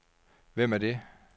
Hvem er det